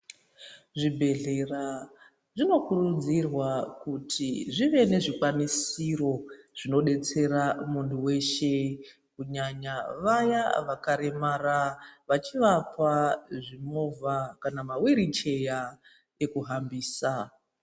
Zvibhedhlera zvinokurudzirwa kuti zvive nezvikwanisiro zvinodetsera muntu weshe kunyanya vaya vakaremara vachivapa zvimovha kana mawiricheya ekuhambisa.